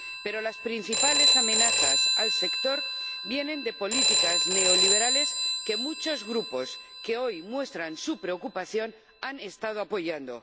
Pero las principales amenazas al sector vienen de políticas neoliberales que muchos grupos, que hoy muestran su preocupación, han estado apoyando.